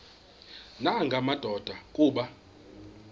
nanga madoda kuba